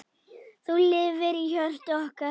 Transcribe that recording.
Þú lifir í hjörtum okkar.